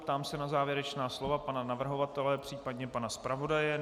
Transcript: Ptám se na závěrečná slova pana navrhovatele, případně pana zpravodaje.